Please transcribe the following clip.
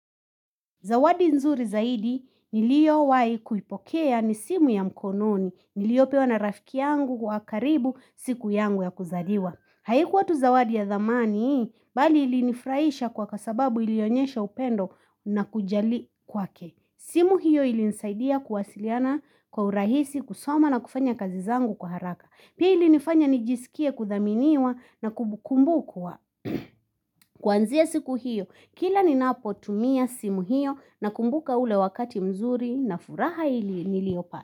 Zawadi nzuri zaidi niliyo wahi kuipokea ni simu ya mkononi niliyo pewa na rafiki yangu kwa karibu siku yangu ya kuzaliwa. Haikuwa tu zawadi ya thamani, bali ilinifurahisha kwa kasababu ilionyesha upendo na kujali kwa ke. Simu hiyo ilinisaidia kuwasiliana kwa urahisi kusoma na kufanya kazizangu kwa haraka. Pia ilinifanya nijisikie kuthaminiwa na kumbukumbu kwa. Kuanzia siku hiyo, kila ni napo tumia simu hiyo na kumbuka ule wakati mzuri na furaha niliyopata.